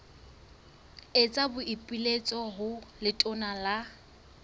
etsa boipiletso ho letona la